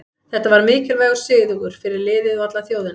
Þetta var mikilvægur sigur fyrir liðið og alla þjóðina.